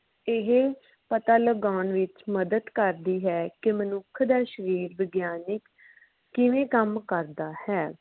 ਇਹ ਪਤਾ ਲਗਾਉਣ ਵਿਚ ਮਦਦ ਕਰਦੀ ਹੈ ਕੇ ਮਨੁੱਖ ਦਾ ਸ਼ਰੀਰ ਵਿਗਿਆਨਿਕ ਕਿਵੇਂ ਕੰਮ ਕਰਦਾ ਹੈ